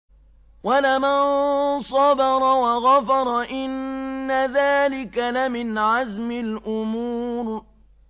وَلَمَن صَبَرَ وَغَفَرَ إِنَّ ذَٰلِكَ لَمِنْ عَزْمِ الْأُمُورِ